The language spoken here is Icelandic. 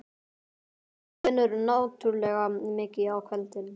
Þú vinnur náttúrlega mikið á kvöldin.